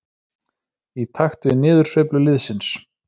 Í takt við niðursveiflu liðsins.